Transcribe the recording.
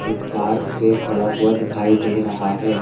एक पार्क पर खड़ा हुआ दिखाई दे रहा है।